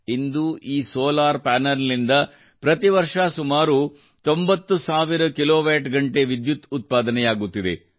ಇಂದು ಈ solar panel ನಿಂದ ಪ್ರತಿ ವರ್ಷ ಸುಮಾರು 90 ಸಾವಿರ ಕಿಲೋವ್ಯಾಟ್ ಗಂಟೆ ವಿದ್ಯುತ್ ಉತ್ಪಾದನೆಯಾಗುತ್ತಿದೆ